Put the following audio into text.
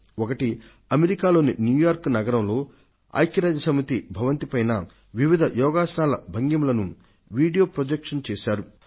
వాటిలో ఒకటి ఐక్య రాజ్య సమితి కేంద్ర కార్యాలయ భవనం ఉన్న అమెరికాలోని న్యూయార్క్ సిటీలో పైన వివిధ యోగాసనాల భంగిమలను వీడియో ప్రొజెక్షన్ చేశారు